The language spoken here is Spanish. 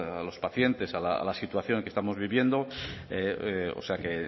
a los pacientes a la situación que estamos viviendo o sea que